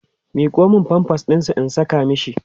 miƙo Mani pampers ɗinsa in Saka mashi